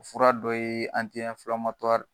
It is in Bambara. Fura dɔ ye